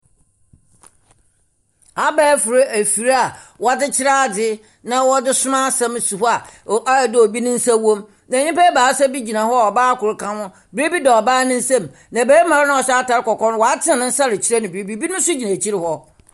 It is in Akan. Abaɛfor efir a wɔdze kyerɛ adze na wɔdze soma asɛm si hɔ a, o ayɛ dɛ obi ne nsa wɔ mu. Na nimpa ebiasa bi gyina hɔ a ɔbaa kor kaho. Biribi da ɔbaa ne nsamu, na barimba no a ɔhyɛ atar kɔkɔɔ no, ɔatsen ne nsa rekyerɛ biribi. Biribi so gyina ekyir hɔ.